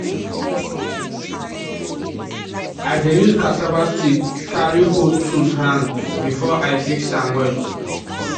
i dey use cassava stick carry hold tools hand before i fix am well